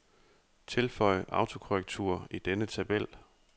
Tilføj autokorrektur i denne tabel.